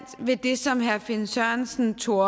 ved det som herre finn sørensen tog